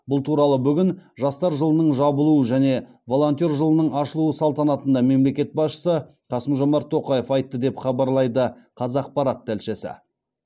бұл туралы бүгін жастар жылының жабылуы және волонтер жылының ашылуы салтанатында мемлекет басшысы қасым жомарт тоқаев айтты деп хабарлайды қазақпарат тілшісі